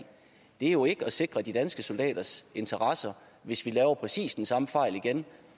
det er jo ikke at sikre de danske soldaters interesser hvis vi laver præcis den samme fejl igen